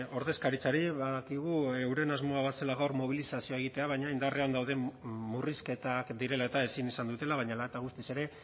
ordezkaritzari badakigu euren asmoa bazela gaur mobilizazioa egitea baina indarrean dauden murrizketak direla eta ezin izan dutela baina hala eta guztiz ere